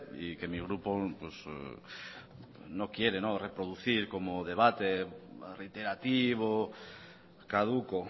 y que mi grupo no quiere reproducir como debate reiterativo caduco